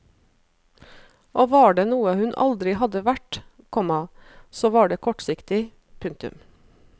Og var det noe hun aldri hadde vært, komma så var det kortsiktig. punktum